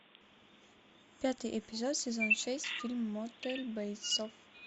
пятый эпизод сезон шесть фильм мотель бейтсов